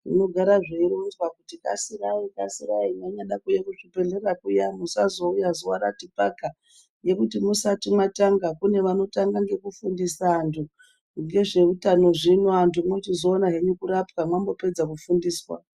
Zvino gara zvei ronzwa kuti kasira kasira mei nyada ku uya ku zvibhedhlera kuya musazo uya zuva rati paka ngekuti musati matanga kune vano tanga ngeku fundisa antu ngezve utano zvino antu mochizo ona henyu kurapwa mambo pedza ku fundiswa.